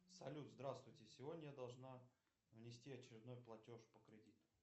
салют здравствуйте сегодня я должна внести очередной платеж по кредиту